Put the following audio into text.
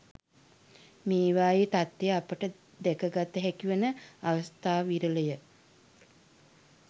මේවායේ තත්ත්වය අපට දැක ගත හැකි වන අවස්ථා විරල ය.